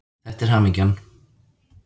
Þetta er hamingjan.